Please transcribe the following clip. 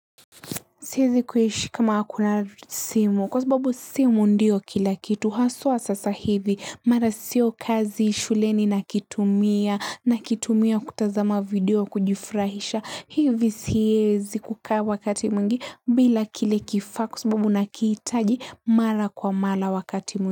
Siwezi kuishi kama hakuna simu kwa sababu simu ndio kila kitu haswa sasa hivi mara sio kazi shuleni nakitumia nakitumia kutazama video kujifurahisha hivi siezi kukaa wakati mwingi bila kile kifaa kwa sababu nakihitaji mara kwa mara wakati mwingi.